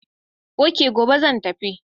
Ok, gobe zan tafi.